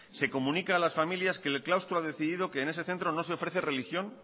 se comunica a las familias que el claustro ha decidido que en ese centro no se ofrece religión